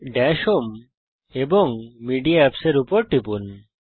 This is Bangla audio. দাশ হোম এবং মেডিয়া Apps এর উপর টিপুন